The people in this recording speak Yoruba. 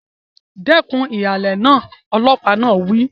Dẹ́kun ìhàlẹ̀ náà! Ọlọ́pàá náà wí.